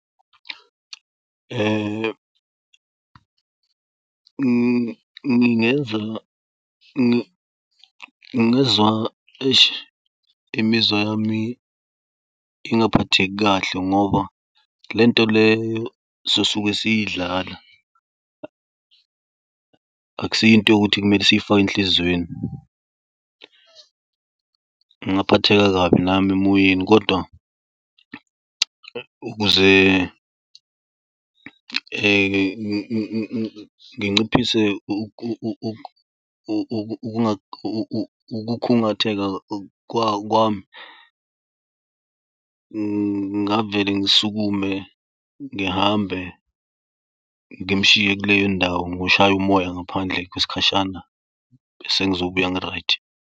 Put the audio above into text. Ngingezwa, eish imizwa yami ingaphatheki kahle ngoba lento leyo sosuke siyidlala akusiyinto yokuthi kumele siyifake enhlizweni. Ngaphatheka kabi nami emoyeni kodwa ukuze nginciphise ukukhungatheka kwami, ngingavele ngisukume ngihambe ngimshiye kuleyondawo ngoshaya umoya ngaphandle kwesikhashana bese ngizobuya ngi-right.